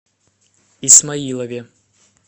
исмаилове